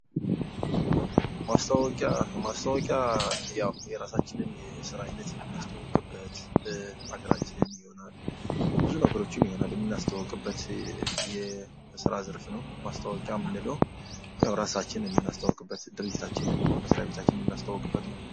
ማስታወቂያ ፦ማስታወቂያ ያው የራሳችንን የስራ ሂደት የምናስተዋውቅበት አገራችን የሚሆናል ብዙ ነገሮችን ምናስተዋውቅበት ዘርፍ ነው። ማስታወቂያ የምንለው የምናስተወቅበት ድርጅታችንን መስሪያ ቤታችን ማስተዋውቅበት ነው።